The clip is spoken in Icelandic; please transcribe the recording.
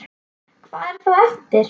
Hvað er þá eftir?